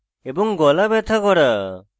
গলা ব্যথা করা